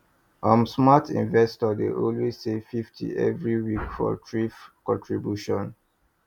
um smart investor dey always save fifty every week for thrift contribution